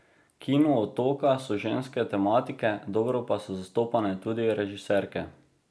Kino Otoka so ženske tematike, dobro pa so zastopane tudi režiserke.